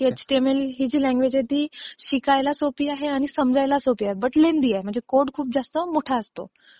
कारण की एचटीएमएल ही जी लँग्वेज आहे ती शिकायला सोपी आहे आणि समजायला सोपी आहे पण लेंदी आहे म्हणजे कोड खूप जास्त मोठा असतो.